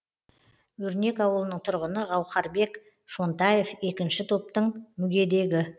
өрнек ауылының тұрғыны гаухарбек шонтаев екінші топтың мүгедегі